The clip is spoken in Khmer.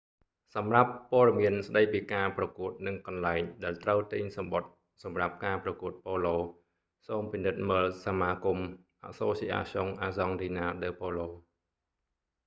សម្រាប់ព័ត៌មានស្តីពីការប្រកួតនិងកន្លែងដែលត្រូវទិញសំបុត្រសម្រាប់ការប្រកួតប៉ូឡូ សូមពិនិត្យមើលសមាគមន៍ asociacion argentina de polo